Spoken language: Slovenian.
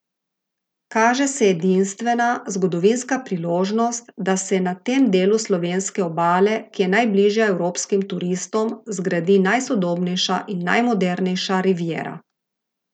Kaže se edinstvena, zgodovinska priložnost, da se na tem delu slovenske obale, ki je najbližja evropskim turistom, zgradi najsodobnejša in najmodernejša riviera.